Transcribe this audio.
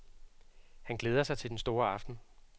Han glæder sig til den store aften.